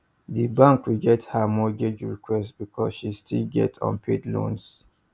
di bank reject her mortgage request because she still get unpaid loans